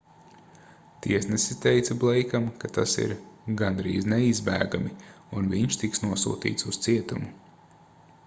tiesnesis teica bleikam ka tas ir gandrīz neizbēgami un viņš tiks nosūtīts uz cietumu